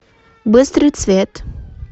быстрый цвет